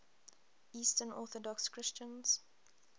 eastern orthodox christians